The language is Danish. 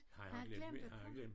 Har han glemt har han glemt